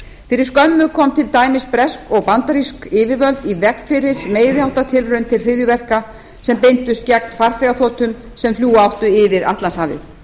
fyrir skömmu komu til dæmis bresk og bandarísk yfirvöld í veg fyrir meiri háttar tilraun til hryðjuverka sem beindust gegn farþegaþotum sem fljúga áttu yfir atlantshafið